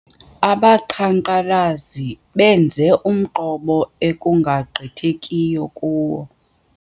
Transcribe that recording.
Abaqhankqalazi benze umqobo ekungagqithekiyo kuwo.